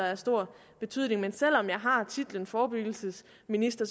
har stor betydning selv om jeg har titlen forebyggelsesminister